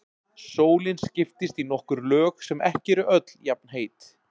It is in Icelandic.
Sólin skiptist í nokkur lög sem ekki eru öll jafnheit.